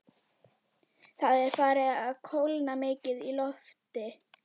Það er farið að kólna mikið í lofti.